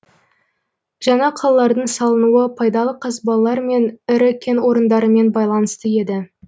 жаңа қалалардың салынуы пайдалы қазбалар мен ірі кен орындарымен байланысты еді